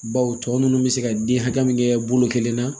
Baw tɔ ninnu bɛ se ka den hakɛ min kɛ bolo kelen na